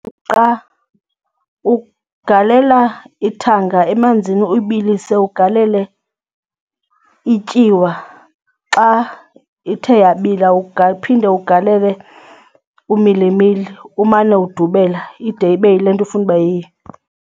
Umqa, ugalela ithanga emanzini ubilise ugalele ityiwa. Xa ithe yabila ungaphinde ugalele umilimili umane udubela ide ibe yile nto ufuna ibe yiyo.